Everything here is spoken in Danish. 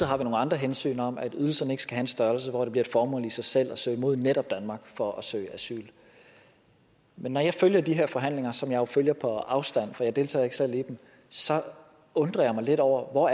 har vi nogle andre hensyn om at ydelserne ikke skal have en størrelse hvor det bliver et formål i sig selv at søge mod netop danmark for at søge asyl men når jeg følger de her forhandlinger som jeg jo følger på afstand for jeg deltager ikke selv i dem så undrer jeg mig lidt over hvor